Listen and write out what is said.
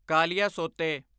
ਕਾਲੀਆਸੋਤੇ